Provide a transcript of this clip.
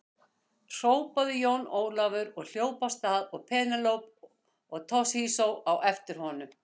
Hrópaði Jón Ólafur og hljóp af stað og Penélope og Toshizo á eftir honum.